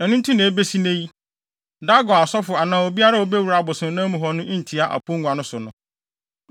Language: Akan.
Ɛno nti na ebesi nnɛ yi, Dagon asɔfo anaa obiara a obewura abosonnan mu hɔ no ntia aponnua no so no.